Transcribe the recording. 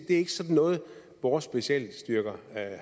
ikke sådan noget vores specialstyrker